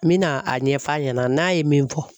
N bi na a ɲɛfɔ a ɲɛna n'a ye min fɔ.